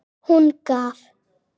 Hún gaf.